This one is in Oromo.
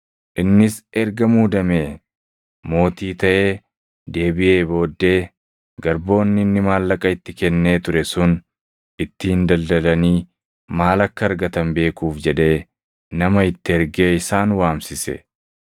“Innis erga muudamee mootii taʼee deebiʼee booddee garboonni inni maallaqa itti kennee ture sun ittiin daldalanii maal akka argatan beekuuf jedhee nama itti ergee isaan waamsise.